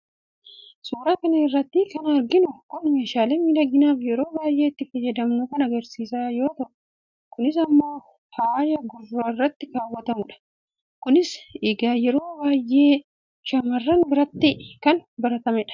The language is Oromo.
suuraa kana irratti kan arginu kun meeshaalee miidhaginaaf yeroo baay'ee itti fayyadamnu kan agarsiisu yoo ta'u, kunis immoo faaya gurra irratti kaawwatamudha. kunis egaa yeroo baay'ee shaamarran biratti kan baratamedha.